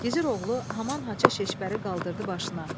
Gizir oğlu haman haça şişbəri qaldırdı başına.